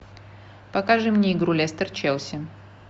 покажи мне игру лестер челси